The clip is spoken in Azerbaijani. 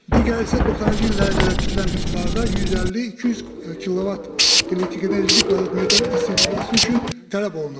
Digəri isə 90-cı illərə qədər tikilən binalarda 150-200 kilovat elektrik enerjisi 1 kvadrat metr isitməsi üçün tələb olunur.